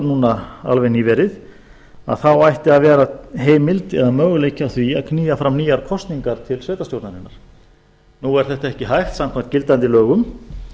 núna alveg nýverið að þá ætti að vera heimild eða möguleiki á því að knýja fram nýjar kosningar til sveitarstjórnarinnar nú er þetta ekki hægt samkvæmt gildandi lögum